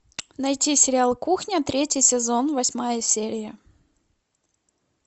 найти сериал кухня третий сезон восьмая серия